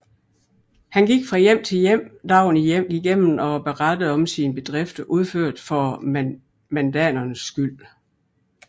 Han gik fra hjem til hjem dagen igennem og berettede om sine bedrifter udført for mandanernes skyld